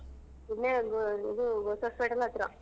ಇಲ್ಲೇ ಇದು hospital ಹತ್ರ.